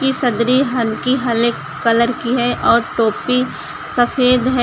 सदरी हल्की हले कलर की है और टोपी सफेद है।